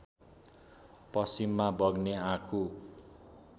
पश्चिममा बग्ने आँखु